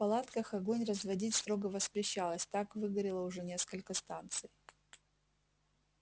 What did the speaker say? в палатках огонь разводить строго воспрещалось так выгорело уже несколько станций